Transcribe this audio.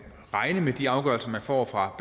regne med de afgørelser man får fra